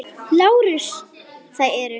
LÁRUS: Það eru.